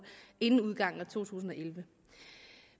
inden udgangen af to tusind og elleve